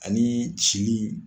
Ani cili in